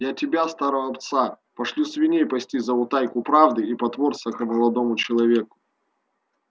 я тебя старого пса пошлю свиней пасти за утайку правды и потворство к молодому человеку